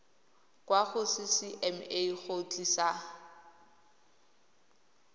kwa go ccma go tlisa